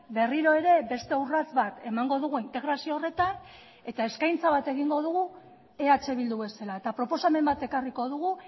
berriro ere beste urrats bat emango dugu integrazio horretan eta eskaintza bat egingo dugu eh bildu bezala eta proposamen bat ekarriko dugu